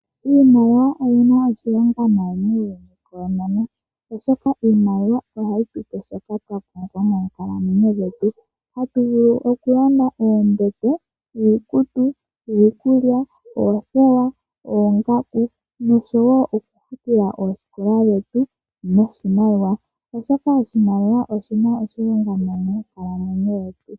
Iimaliwa oyina oshilonga nayi noonkondo, oshoka iimaliwa ohayi tupe shoka twa pumbwa moonkalamwenyo dhetu. Otatu vulu okulanda oombete, iikutu, iikulya, oothewa, oongaku nosho woo okufutila oosikola dhetu noshimaliwa, oshoka oshimaliwa oshina oshilonga nayi monkalamwenyo dhetu.